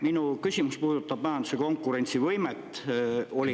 Minu küsimus puudutab majanduse konkurentsivõimet.